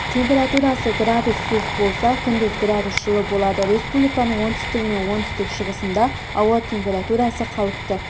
температурасы градус суық болса күндіз градус жылы болады республиканың оңтүстігі мен оңтүстік-шығысында ауа температурасы қалыпты